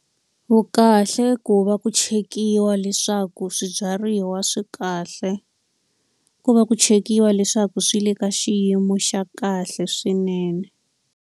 Vukahle ku va ku chekiwa leswaku swibyariwa swi kahle, ku va ku chekiwa leswaku swi le ka xiyimo xa kahle swinene.